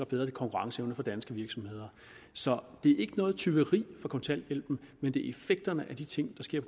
bedre konkurrenceevne for danske virksomheder så det er ikke noget tyveri fra kontanthjælpen men det er effekterne af de ting der sker